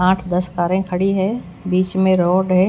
आठ दस कारे खड़ी है बीच में रोड है।